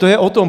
To je o tom.